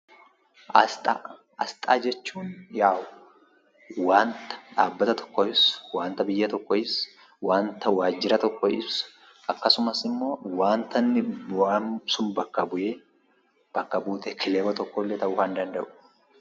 Asxaa Asxaa jechuun, waanta dhaabbata tokko ibsu, waanta biyya tokko ibsu, waanta waajira tokko ibsu akkasumas waanta bakka bu'aan sun bu'ee bakka buutee kilaba tokkoo illee ta'uu danda'udha.